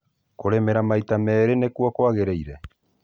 kũrĩmĩra maita merĩ nĩkwo kwagĩrïire